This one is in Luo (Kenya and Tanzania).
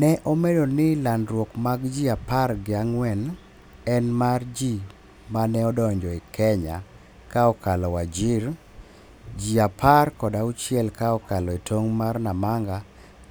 ne omedo ni landruok mag ji apar gi ang'wen en mar ji maneodonjo Kenya ka okalo Wajir, ji aper kod auchiel ka okalo e tong' mar Namanga,